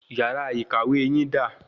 Yàrá ìkàwé yín da?